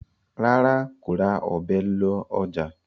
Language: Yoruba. ràrá kò rà Ọ̀bẹ ló ọjà.